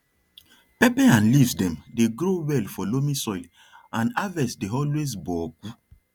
pepper and leaves dem dey grow well for loamy soil and harvest dey always boku